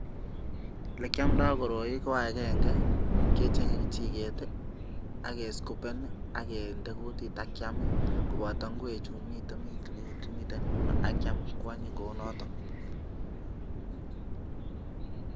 Ole kiomdo koroi ko agenge kicheng'e kechiget ak keskupen ak kende kutit ak kyam koboto ngwek chumiten yuno ak kyam koanyin kou noto.